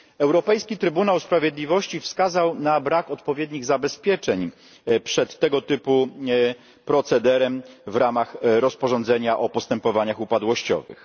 Europejski Trybunał Sprawiedliwości wskazał na brak odpowiednich zabezpieczeń przed tego typu procederem w ramach rozporządzenia o postępowaniach upadłościowych.